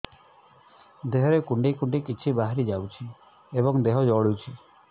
ଦେହରେ କୁଣ୍ଡେଇ କୁଣ୍ଡେଇ କିଛି ବାହାରି ଯାଉଛି ଏବଂ ଦେହ ଜଳୁଛି